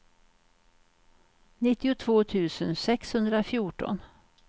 nittiotvå tusen sexhundrafjorton